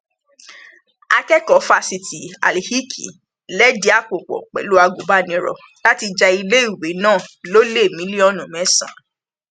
a jẹ pé gbogbo àwọn agbolé ní ìlú èkó àti ní gbogbo nàìjíríà lápapọ kìkì eporọbì ni